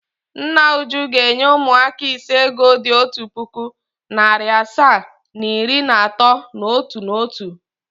Nna Uju ga-enye ụmụaka ise ego dị otu puku, narị asaa na iri na atọ n’otu n’otu.